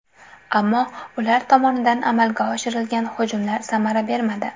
Ammo ular tomonidan amalga oshirilgan hujumlar samara bermadi.